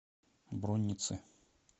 бронницы